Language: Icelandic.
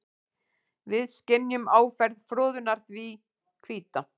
Við skynjum áferð froðunnar því hvíta.